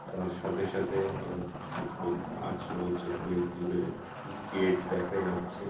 তার সাথে সাথে আবার ছোট ছোট গাছ রয়েছে। অনেক দূরে গেট দেখা যাচ্ছে ।